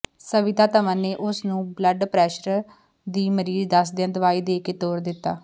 ਸਵਿਤਾ ਧਵਨ ਨੇ ਉਸ ਨੂੰ ਬਲੱਡ ਪ੍ਰੈਸ਼ਰ ਦੀ ਮਰੀਜ਼ ਦੱਸਦਿਆਂ ਦਵਾਈ ਦੇ ਕੇ ਤੋਰ ਦਿੱਤਾ